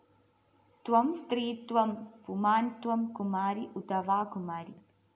ത്വം സ്ത്രീ ത്വം പുമാന്‍ ത്വം കുമാരീ ഉതവാ കുമാരീ